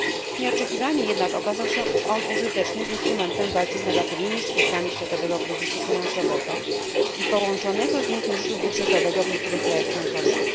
Nieoczekiwanie jednak okazał się on użytecznym instrumentem w walce z negatywnymi skutkami światowego kryzysu finansowego i połączonego z nim kryzysu budżetowego w niektórych państwach członkowskich.